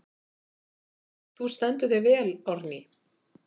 Þú stendur þig vel, Árný!